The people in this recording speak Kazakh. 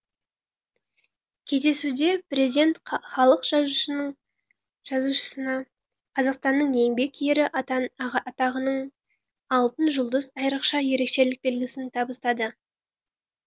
кездесуде президент халық жазушысына қазақстанның еңбек ері атағының алтын жұлдыз айрықша ерекшелік белгісін табыстады